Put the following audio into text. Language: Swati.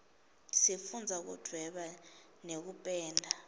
sifundza kudvweba nekupenda